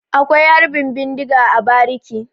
Akwai Harbin bindiga a bariki.